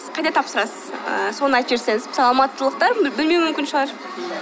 сіз қайда тапсырасыз соны айтып жіберсеңіз мысалы алматылықтар білмеуі мүмкін шығар